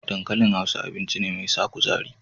Dankalin Hausa, abinci ne mai sa kuzari.